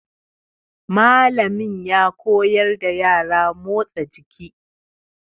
Mallami ya koyar da yara motsa jiki.